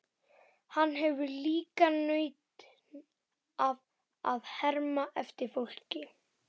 Hann hefur líka nautn af að herma eftir fólki.